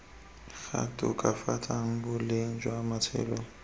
tla tokafatsang boleng jwa matshelo